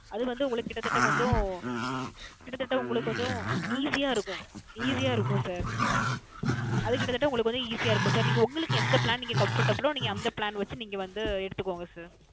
அது வந்து உங்களுக்கு கிட்ட தட்ட கொஞ்சம் கிட்டத்தட்ட உங்களுக்கு கொஞ்சம் Easy யா இருக்கும் Easy யா இருக்கும் Sir அது கிட்டத்தட்ட உங்களுக்கு Easy யா இருக்கும் Sir அது உங்களுக்கு நீங்க இந்த Plan Comfortable லோ நீங்க அந்த Plan வைச்சு நீங்க வந்து எடுத்துக்கோங்க Sir